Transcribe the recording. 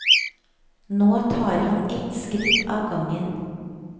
Nå tar han et par skritt av gangen.